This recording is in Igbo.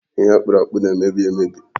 Ihe akpụrụ akpụ na-emebi emebi.